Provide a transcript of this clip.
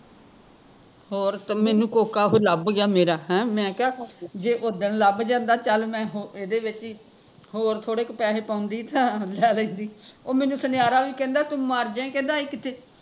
ਹੋਰ, ਤੇ ਮੈਂਨੂੰ ਕੋਕਾ ਫਿਰ ਲੱਭ ਗਿਆ ਮੇਰਾ, ਹੈਂ ਮੈਂ ਕਿਹਾ ਜੇ ਉਧਣ ਲੱਬ ਜਾਂਦਾ ਚੱਲ ਮੈਂ ਇਹਦੇ ਵਿੱਚ ਹੀਂ ਹੋਰ ਥੋੜੇ ਕੁ ਪੈਸੇ ਪਾਉਂਦੀ ਤਾਂ ਲੈ ਲੈਂਦੀ ਉਹ ਮੈਂਨੂੰ ਸੁਨਿਆਰਾ ਵੀ ਕਹਿੰਦਾ ਤੂ ਮਰਜੇ ਇਹ ਕੀਤੇ